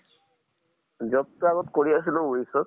job টো আগত কৰি আছিলো wish ত।